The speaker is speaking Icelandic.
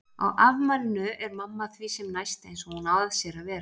Á afmælinu er mamma því sem næst eins og hún á að sér að vera.